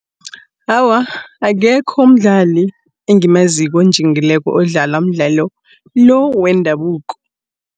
Awa, akekho umdlali engimaziko onjingileko odlala umdlalo lo, wendabuko.